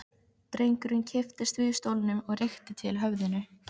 Drengurinn kipptist við í stólnum og rykkti til höfðinu.